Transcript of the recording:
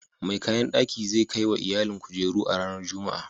Mai kayan daki zai kai wa iyalin kujeru a ranar Juma'a.